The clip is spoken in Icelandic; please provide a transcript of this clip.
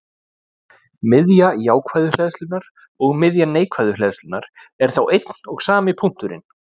Miðja jákvæðu hleðslunnar og miðja neikvæðu hleðslunnar eru þá einn og sami punkturinn.